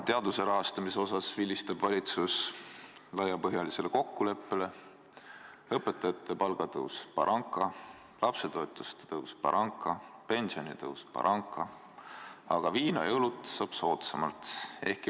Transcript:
Teaduse rahastamisel vilistab valitsus laiapõhjalisele kokkuleppele, õpetajate palga tõus – baranka, lapsetoetuste tõus – baranka, pensionide tõus – baranka, aga viina ja õlut saab soodsamalt.